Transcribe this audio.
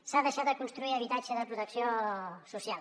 s’ha deixat de construir habitatge de protecció social